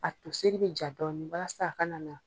A toseri bɛ ja dɔɔnin walasa a kana.